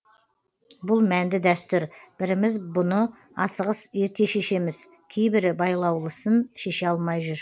бұл мәнді дәстүр біріміз бұны асығыс ерте шешеміз кейбірі байлаулысын шеше алмай жүр